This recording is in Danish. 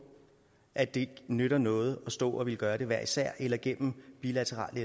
at det nytter noget at stå og ville gøre det hver især eller gennem bilaterale